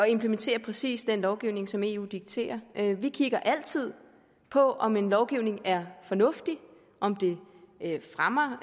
implementere præcis den lovgivning som eu dikterer vi kigger altid på om en lovgivning er fornuftig om den fremmer